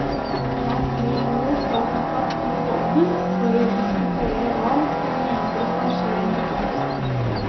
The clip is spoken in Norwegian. Han vil nå ta kontakt med fondet for å diskutere hva som videre skal skje med kunsten.